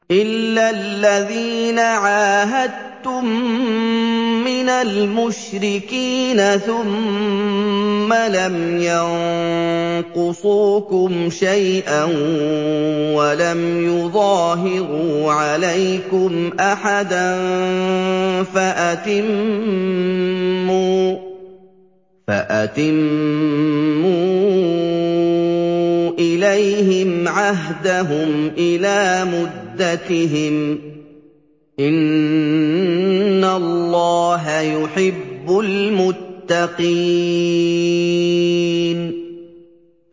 إِلَّا الَّذِينَ عَاهَدتُّم مِّنَ الْمُشْرِكِينَ ثُمَّ لَمْ يَنقُصُوكُمْ شَيْئًا وَلَمْ يُظَاهِرُوا عَلَيْكُمْ أَحَدًا فَأَتِمُّوا إِلَيْهِمْ عَهْدَهُمْ إِلَىٰ مُدَّتِهِمْ ۚ إِنَّ اللَّهَ يُحِبُّ الْمُتَّقِينَ